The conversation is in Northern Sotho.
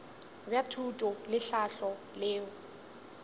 bja thuto le tlhahlo leo